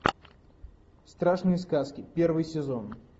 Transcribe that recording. страшные сказки первый сезон